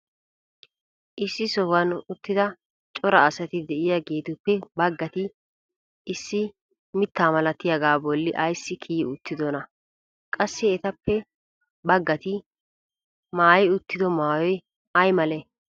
issi sohuwan uttida cora asati diyaageetuppe bagatti issi mita malattiyaaga boli ayssi kiyi uttidonaa? qassi etappe bagatti maayi uttido maayoy ayi malee?